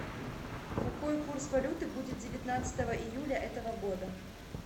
какой курс валюты будет девятнадцатого июля этого года